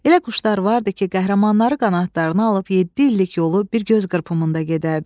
Elə quşlar vardı ki, qəhrəmanları qanadlarına alıb yeddi illik yolu bir göz qırpımında gedərdi.